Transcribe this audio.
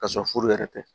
Ka sɔrɔ furu yɛrɛ tɛ